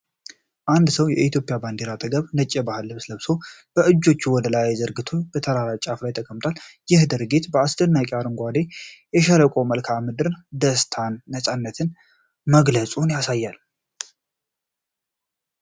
አንድ ሰው በኢትዮጵያ ባንዲራ አጠገብ፣ ነጭ የባህል ልብስ ለብሶ፣ እጆቹን ወደ ላይ ዘርግቶ በተራራ ጫፍ ላይ ተቀምጧል። ይህ ድርጊት በአስደናቂው አረንጓዴ የሸለቆ መልክዓ ምድር ደስታንና ነፃነትን መግለጹን ያሳያል።